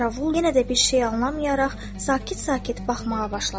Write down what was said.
Qaravul yenə də bir şey anlamayaraq sakit-sakit baxmağa başladı.